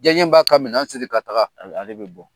Jaɲe ba ka minɛn siri ka taga. Ale bɛ bɔ.